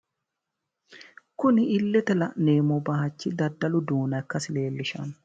Kuni illete la'neemmo bayichi daddalu duuna ikkasi leellishanno.